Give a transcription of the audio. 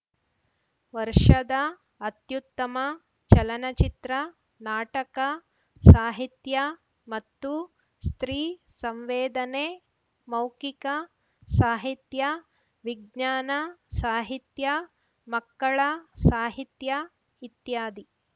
ವರ್ಷದ ಅತ್ಯುತ್ತಮ ಚಲನಚಿತ್ರ ನಾಟಕ ಸಾಹಿತ್ಯ ಮತ್ತು ಸ್ತ್ರೀ ಸಂವೇದನೆ ಮೌಖಿಕ ಸಾಹಿತ್ಯ ವಿಜ್ಞಾನ ಸಾಹಿತ್ಯ ಮಕ್ಕಳ ಸಾಹಿತ್ಯ ಇತ್ಯಾದಿ